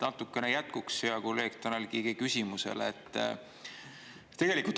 Natukene jätkuks hea kolleegi Tanel Kiige küsimusele.